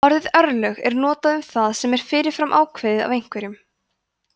orðið örlög er notað um það sem er fyrir fram ákveðið af einhverjum